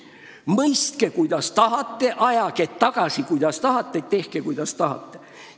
Mõistke, kuidas tahate, ajage tagasi, kuidas tahate, või tehke, kuidas tahate.